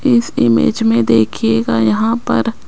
इस इमेज में देखिएगा यहां पर--